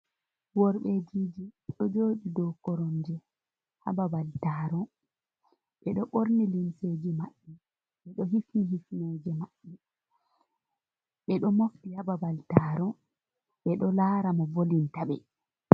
Worbejiji ɗo joɗi dou koromje ha babal taro. Ɓeɗo ɓorni limseji maɓɓe, ɓeɗo hifni hisnoje maɓɓe, ɓeɗo mofti ha babal taro ɓeɗo lara mo volinta ɓe.